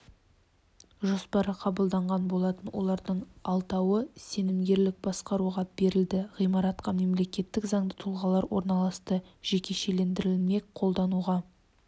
жоспары қабылданған болатын олардың алтауы сенімгерлік басқаруға берілді ғимаратқа мемлекеттік заңды тұлғалар орналасты жекешелендірілмек қолдануға